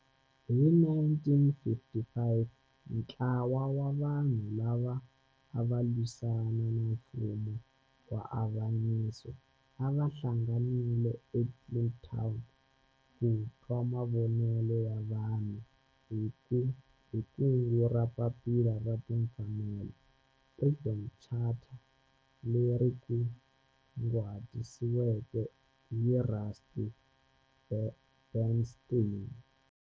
Hi 1955 ntlawa wa vanhu lava ava lwisana na nfumo wa avanyiso va hlanganile eKliptown ku twa mavonelo ya vanhu hi kungu ra Papila ra Timfanelo, Freedom Charter, leri kunguhatiweke hi Rusty Bernstein.